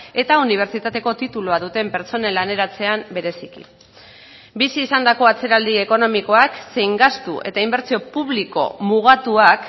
eta unibertsitateko titulua duten pertsonen laneratzean bereziki bizi izandako atzeraldi ekonomikoak zein gastu eta inbertsio publiko mugatuak